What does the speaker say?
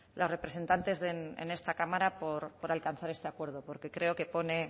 las representantes en esta cámara por alcanzar este acuerdo porque creo que pone